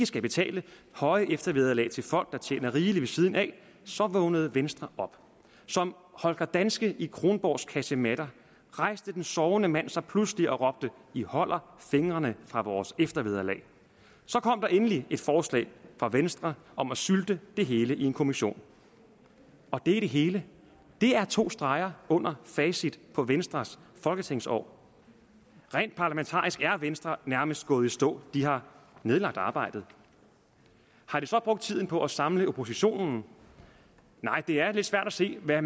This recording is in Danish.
skal betale høje eftervederlag til folk der tjener rigeligt ved siden af vågnede venstre op som holger danske i kronborgs kasematter rejste den sovende mand sig pludselig og råbte i holder fingrene fra vores eftervederlag så kom der endelig et forslag fra venstre om at sylte det hele i en kommission og det er det hele det er to streger under facit på venstres folketingsår rent parlamentarisk er venstre nærmest gået i stå de har nedlagt arbejdet har de så brugt tiden på at samle oppositionen nej det er lidt svært at se hvad